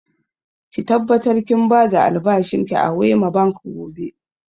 Ki tabbatar kin ba da albashin ki a Wema Bank gobe!